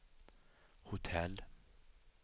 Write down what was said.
hotell